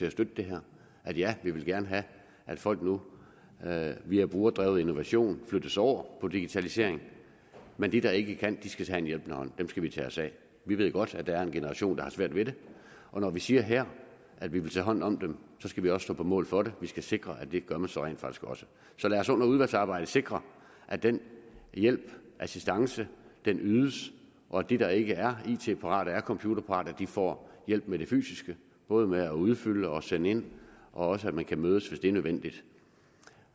at støtte det her ja vi vil gerne have at folk nu via brugerdrevet innovation flyttes over på digitalisering men de der ikke kan skal så have en hjælpende hånd dem skal vi tage os af vi ved godt at der er en generation der har svært ved det og når vi siger her at vi vil tage hånd om dem så skal vi også stå på mål for det vi skal sikre at det gør man så rent faktisk også så lad os under udvalgsarbejdet sikre at den hjælp assistance ydes og at de der ikke er it parate ikke er computerparate får hjælp med det fysiske både med at udfylde og sende ind og også at man kan mødes hvis det er nødvendigt